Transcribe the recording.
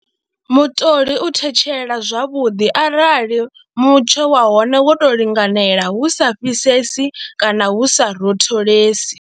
Mutoli u thetshela zwavhuḓi arali mutsho wa hone wo tou linganela hu sa fhisesi kana hu sa rotholesi.